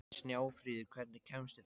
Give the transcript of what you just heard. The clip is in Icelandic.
Snjáfríður, hvernig kemst ég þangað?